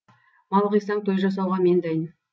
мал қисаң той жасауға мен дайын